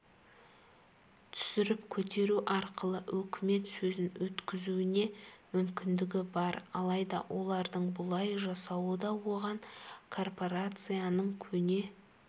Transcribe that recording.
түсіріп-көтеру арқылы үкімет сөзін өткізуіне мүмкіндігі бар алайда олардың бұлай жасауы да оған корпорацияның көне